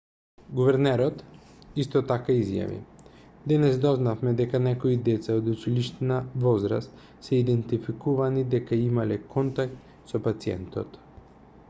гувернерот исто така изјави денес дознавме дека некои деца од училишна возраст се идентификувани дека имале контакт со пациентот